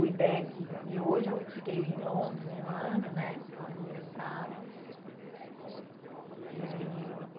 O IDEC, e hoje eu fiquei em Londres um ano né, fazendo um mestrado. E aí